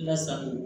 Lasago